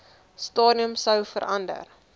stadium sou verander